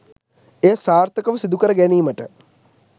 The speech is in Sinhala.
එය සාර්ථකව සිදුකර ගැනීමට